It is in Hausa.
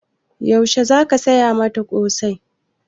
Yaushe za ka saya mata ƙosai?